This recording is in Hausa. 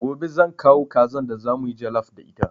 Gobe zan kawo kazan da za mu yi jallaf da ita.